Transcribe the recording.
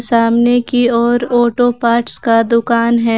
सामने की ओर ऑटो पार्ट्स का दुकान है।